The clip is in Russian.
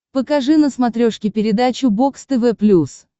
покажи на смотрешке передачу бокс тв плюс